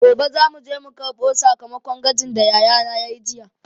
Gobe zamu je karɓo sakamakon gwajin da yayana yayi jiya.